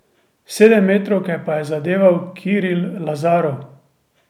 Sedemmetrovke pa je zadeval Kiril Lazarov.